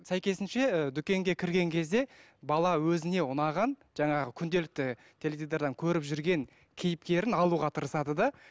сәйкесінше дүкенге кірген кезде бала өзіне ұнаған жаңағы күнделікті теледидардан көріп жүрген кейіпкерін алуға тырысады да